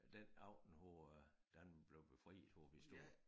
Den aften hvor øh Danmark blev befriet hvor vi stod